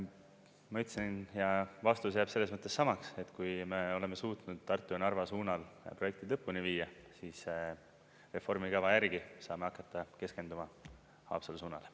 Ma ütlesin ja vastus jääb selles mõttes samaks, et kui me oleme suutnud Tartu ja Narva suunal projektid lõpuni viia, siis reformikava järgi saame hakata keskenduma Haapsalu suunale.